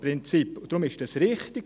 Deshalb ist es richtig.